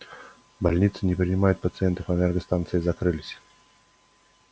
больницы не принимают пациентов энергостанции закрылись